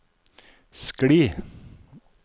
skli